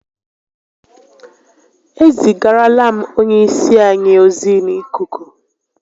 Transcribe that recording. E zigarala m onye isi anyi ozi n'ikuku